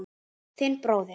Þinn bróðir